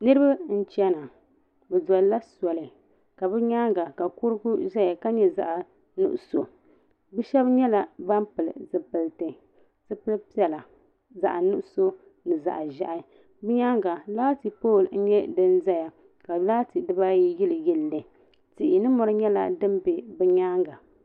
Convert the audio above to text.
Niriba n chɛna bi doli la soli bi yɛanga ka kurugu saya ka nyɛ zaɣi nuɣiso bi shɛba nyɛla bani pili zupiliti zipili piɛlla zaɣi nuɣiso ni zaɣi zɛhi bi yɛanga laati pooli n yɛ dini zaya ka laati diba ayi yili yili li tihi ni mori dini bɛ bi yɛanga.